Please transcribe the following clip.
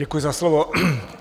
Děkuji za slovo.